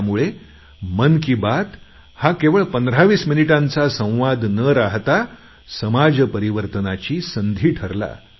त्यामुळे मन की बात हा केवळ पंधरावीस मिनिटांचा संवाद न राहता समाज परिवर्तनाची संधी ठरला